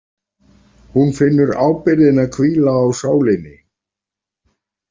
Hún finnur ábyrgðina hvíla á sálinni.